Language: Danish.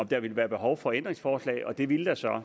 der ville være behov for ændringsforslag og det ville der så